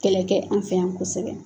Kɛlɛ kɛ an fɛ yan kosɛbɛ